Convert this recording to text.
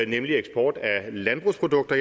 nemlig eksport af landbrugsprodukter